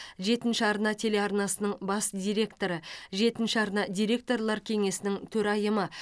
жетінші арна телеарнасының бас директоры жетінші арна директорлар кеңесінің төрайымы